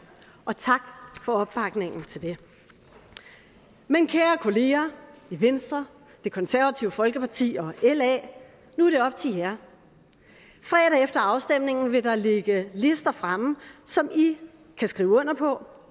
og tak for opbakningen til det men kære kollegaer i venstre det konservative folkeparti og la nu er det op til jer fredag efter afstemningen vil der ligge lister fremme som i kan skrive under på